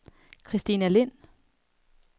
Christina Lind